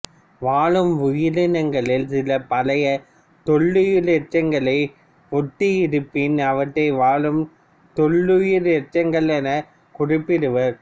வாழும் உயிரினங்களில் சில பழைய தொல்லுயிர் எச்சங்களை ஒத்து இருப்பின் அவற்றை வாழும் தொல்லுயிர் எச்சங்கள் எனக் குறிப்பிடுவர்